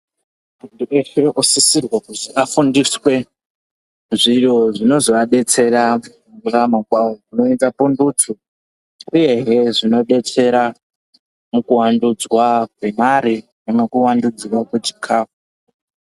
Muntu weshe unosisirwe kuti afundiswe zviri zvinozoadetsera mukurarama kwawo. Zvinoita pundutso uyehe zvinodetsera mukuwandudzwa kwemare nokukuwandudzwa kwechikafu.